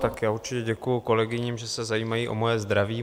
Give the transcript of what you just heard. Tak já určitě děkuju kolegyním, že se zajímají o moje zdraví.